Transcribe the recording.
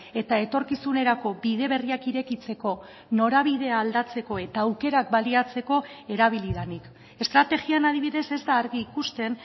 eta etorkizunerako bide berriak irekitzeko norabidea aldatzeko eta aukerak baliatzeko erabili denik estrategian adibidez ez da argi ikusten